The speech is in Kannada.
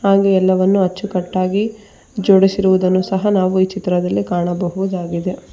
ಹಾಗೆ ಎಲ್ಲವನ್ನು ಹೆಚ್ಚುಕಟ್ಟಾಗಿ ಜೋಡಿಸಿರುವುದನ್ನು ಸಹ ನಾವು ಈ ಚಿತ್ರದಲ್ಲಿ ಕಾಣಬಹುದಾಗಿದೆ.